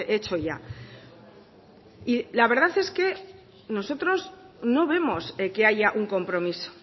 hecho ya la verdad es que nosotros no vemos que haya un compromiso